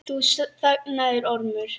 Nú þagnaði Ormur.